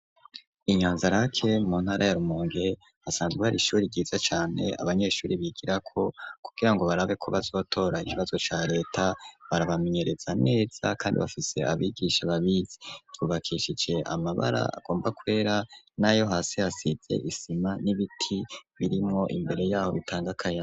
Inyanzarake ,mu ntara yarumonge hasanzwe hari ishuri ryiza cane ,abanyeshuri bigira, ko kugirango barabe ko bazotora ikibazo ca leta barabamenyereza neza, kandi bafise abigisha babizi tubakishije amabara agomba kwera ,nayo hasi hasize isima, n'ibiti birimwo imbere yaho bitangakayaga.